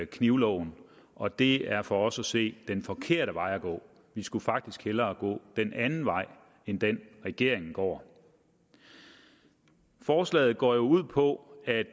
knivloven og det er for os at se den forkerte vej at gå vi skulle faktisk hellere gå en anden vej end den regeringen går forslaget går jo ud på at